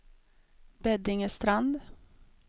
Beddingestrand